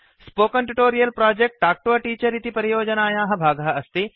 spoken tutorial project talk to a teacher इति परियोजनायाः भागः अस्ति